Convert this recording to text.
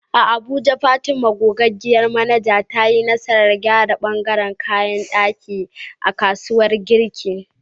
A Abuja, Fatima, gogaggiyar manaja, ta yi nasarar gyara ɓangaren kayan ɗaki a kasuwar Garki.